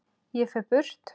Ég fer burt.